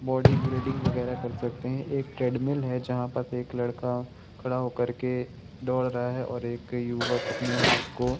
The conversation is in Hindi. बॉडी बिल्डिंग वगेरा कर सकते है एक ट्रेडमिल है जहाँ पास एक लड़का खड़ा होकर के दोड रहा है और एक युवक अपनें हाथ को --